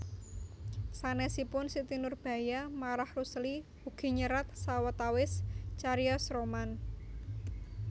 Sanèsipun Siti Nurbaya Marah Rusli ugi nyerat sawetawis carios roman